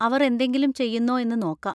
അവർ എന്തെങ്കിലും ചെയ്യുന്നോ എന്ന് നോക്കാം.